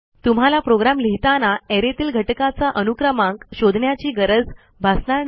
तुम्हाला प्रोग्रॅम लिहिताना arrayतील घटकाचा अनुक्रमांक शोधण्याची गरज भासणार नाही